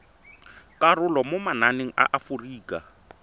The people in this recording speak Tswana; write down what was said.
karolo mo mananeng a aforika